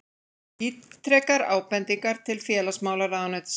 Ítrekar ábendingar til félagsmálaráðuneytisins